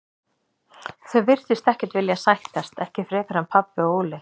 Þau virtust ekkert vilja sættast, ekki frekar en pabbi og Óli.